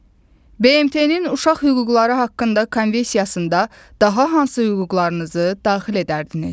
BMT-nin Uşaq Hüquqları haqqında Konvensiyasında daha hansı hüquqlarınızı daxil edərdiniz?